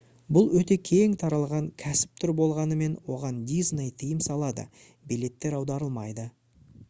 бұл өте кең таралған кәсіп түрі болғанымен оған disney тыйым салады билеттер аударылмайды